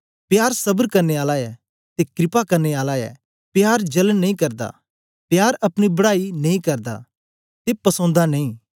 प्यार सबर करने आला ऐ ते क्रपा करने आला ऐ प्यार जलन नेई करदा प्यार अपनी बड़ाई नेई करदा ते फसोंदा नेई